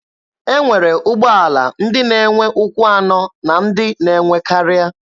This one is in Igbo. E nwere ụgbọala ndị na-enwe ụkwụ anọ na ndị na-enwe karịa.